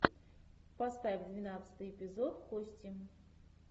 поставь двенадцатый эпизод кости